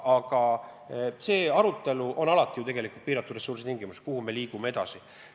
Aga alati on ju tegu piiratud ressurssidega, kui me mõtleme, kuhu me edasi liigume.